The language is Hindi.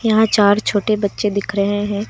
यहां चार छोटे बच्चे दिख रहे हैं।